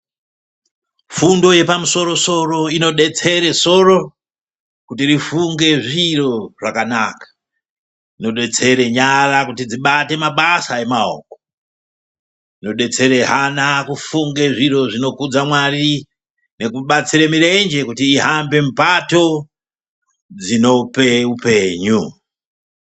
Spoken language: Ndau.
Fundo yepamusoro inodetsere soro kuti rifunge zviro zvakanaka. Inodetsere nyara kuti dzibate mabasa emaoko, inodetsere hana kufunge zviro zvinokudza Mwari nekudetsere mirenje kuti ihambe mupato dzinope upenyu.